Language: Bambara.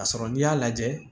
Ka sɔrɔ n'i y'a lajɛ